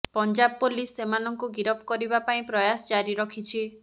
Punjab police ସେମାନଙ୍କୁ ଗିରଫ କରିବା ପାଇଁ ପ୍ରୟାସ ଜାରି ରଖିଛି